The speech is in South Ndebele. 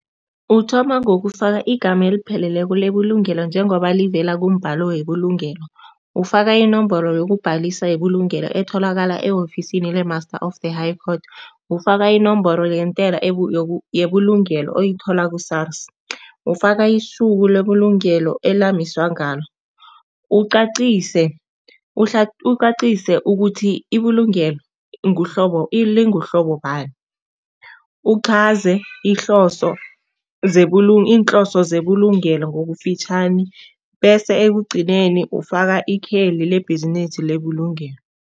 Uthoma ngokufaka igama elipheleleko lebulungelo njengoba livela kumbhalo webulungelo. Ufaka inomboro yokubhalisa yebulungelo etholakala e-ofisini le-Master of the High Court, ufaka inomboro yentela yebulungelo oyithola ku-SARS. Ufaka isuku lebulungelo elamiswa ngalo. Ucacise, ucacise ukuthi ibulungelo nguhlobo linguhlobo bani, uchaze ihloso iinhloso zebulungelo ngokufitjhani bese ekugcineni ufaka ikheli lebhizinisi lebulungelo.